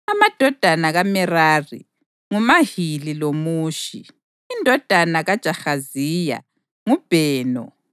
Amadodana kaMerari: nguMahili loMushi. Indodana kaJahaziya: nguBheno.